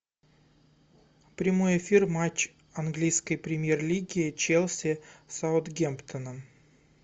прямой эфир матч английской премьер лиги челси с саутгемптоном